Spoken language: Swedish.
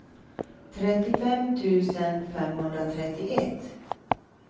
trettiofem tusen femhundratrettioett